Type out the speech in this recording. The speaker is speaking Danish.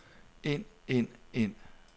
ind ind ind